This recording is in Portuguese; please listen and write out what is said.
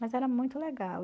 Mas era muito legal.